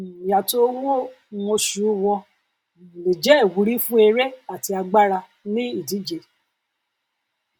um ìyàtọ owó um oṣù wọn um lè jẹ ìwúrí fún eré àti agbára ní ìdíje